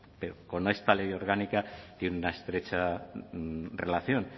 pero con esta ley orgánica tiene una estrecha relación